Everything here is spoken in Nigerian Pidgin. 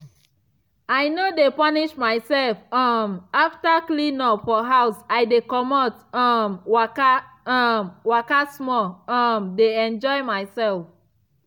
i no de punish myself um after cleanup for house i dey comot um waka um waka small um de enjoy myself.